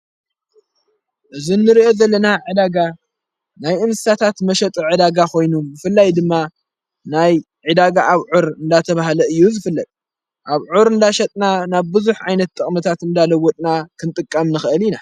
እዝ እንርኦ ዘለና ዕዳጋ ናይ እንሳታት መሸጥዕ ዕዳጋ ኾይኑ ፍላይ ድማ ናይ ዒዳጋ ኣብ ዑር እንዳተብሃለ እዩ ዝፍለጥ ኣብ ዑር እንዳሸጥና ናብ ብዙኅ ኣይነት ተቕመታት እምዳለውድና ክንጥቃም ንኽእል ኢና።